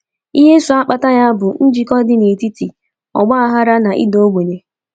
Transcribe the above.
Ihe so kpata ya bụ njikọ dị n’etiti ọgbaghara na ịda ogbenye.